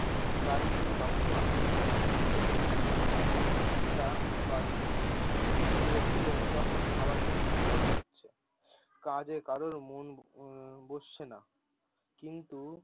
গাড়ি কিন্তু তখনও আসেনি একটু আহ একটা বাজলো। লোকজন তখন খাবার জন্যে ছটপট করছে, কাজে কারোর মন উম বসছে না কিন্তু।